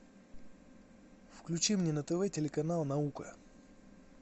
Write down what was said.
включи мне на тв телеканал наука